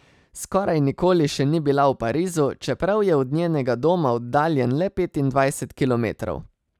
Skoraj nikoli še ni bila v Parizu, čeprav je od njenega doma oddaljen le petindvajset kilometrov.